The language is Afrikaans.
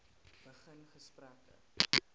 begin gesprekke